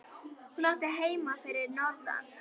Hún átti heima fyrir norðan.